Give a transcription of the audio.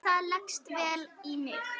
Það leggst vel í mig.